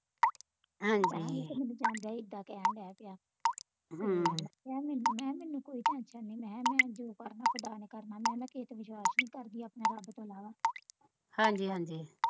ਕਹਿਣ ਦਿਆ ਹੀ ਇੱਦਾਂ ਕਹਿਣ ਦਿਆ ਪਿਆ ਮੈਂ ਮੈਨੂੰ ਮੈਂ ਮੈਨੂੰ ਕੋਈ tension ਨਹੀਂ ਮੈਂ ਮੈਂ ਜੋ ਕਰਨਾ ਖੁਦਾ ਨੇ ਕਰਨਾ ਮੈਂ ਮੈਂ ਕਿਹੇ ਤੇ ਵਿਸ਼ਵਾਸ ਨੀ ਕਰਦੀ ਆਪਣੇ ਰੱਬ ਤੋਂ ਇਲਾਵਾ